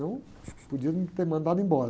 Não, podia me ter mandado embora.